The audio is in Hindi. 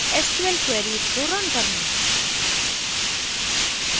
sql queries को रन करना